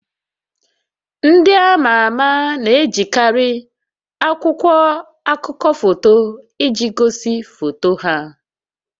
Ndị ama ama na-ejikarị akwụkwọ akụkọ foto iji gosi foto ha